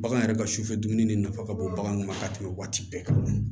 Bagan yɛrɛ ka sufɛ dumuni nafa ka bon baganw ma ka tɛmɛ waati bɛɛ kan